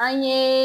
An ye